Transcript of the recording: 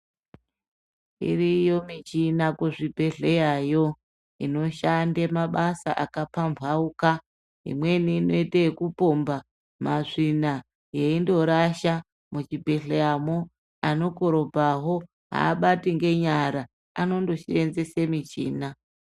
Iriyo michini kuzvibhedhleyayo inoshandei mabasa akapambauka. Imweni inoite ekupomba masvina yeindorasha muzvibhehleyamwo anokorobhowa andobati ngenyara anondosenzesa mishina.